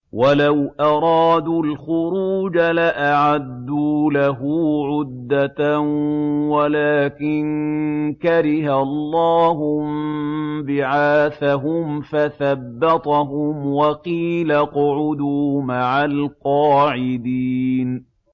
۞ وَلَوْ أَرَادُوا الْخُرُوجَ لَأَعَدُّوا لَهُ عُدَّةً وَلَٰكِن كَرِهَ اللَّهُ انبِعَاثَهُمْ فَثَبَّطَهُمْ وَقِيلَ اقْعُدُوا مَعَ الْقَاعِدِينَ